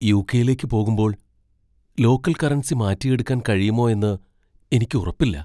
യു.കെ.യിലേക്ക് പോകുമ്പോൾ local currency മാറ്റിയെടുക്കാൻ കഴിയുമോ എന്ന് എനിക്ക് ഉറപ്പില്ല.